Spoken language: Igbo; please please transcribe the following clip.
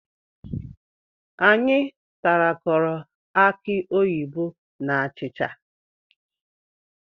Anyi tarakọrọ akị oyibo na achịcha